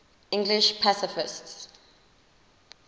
english pacifists